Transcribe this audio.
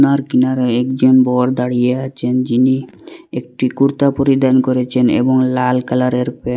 আর কিনারে একজন বর দাঁড়িয়ে আছেন যিনি একটি কুর্তা পরিধান করেছেন এবং লাল কালারের প্যান্ট --